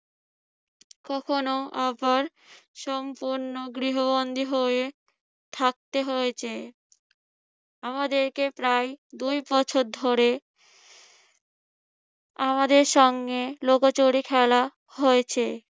কখনো আবার সম্পূর্ণ গৃহবন্ধি হয়ে থাকতে হয়েছে। আমাদেরকে প্রায় দুয়বছর ধরে আমাদের সঙ্গে লুকোচুরি খেলা হয়েছে।